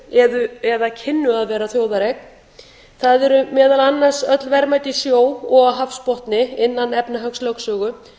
eru eða kynnu að vera þjóðareign það eru meðal annars öll verðmæti í sjó og á hafsbotni innan efnahagslögsögu svo